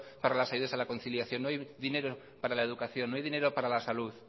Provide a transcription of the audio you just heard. para las ayudas a la conciliación no hay dinero para la educación no hay dinero para la salud